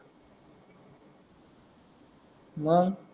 मग